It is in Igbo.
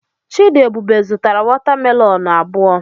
Chidiebube zụtara watamelonụ abụọ.